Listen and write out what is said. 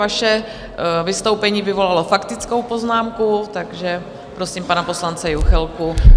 Vaše vystoupení vyvolalo faktickou poznámku, takže prosím pana poslance Juchelku.